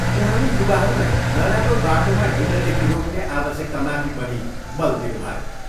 उहाँले युवाहरूलाई नराम्रो बाटोमा हिँड्नदेखि रोक्ने आवश्यकतामाथि पनि बल दिनुभयो।